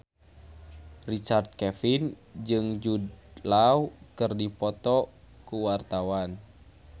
Richard Kevin jeung Jude Law keur dipoto ku wartawan